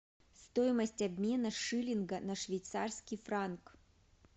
стоимость обмена шиллинга на швейцарский франк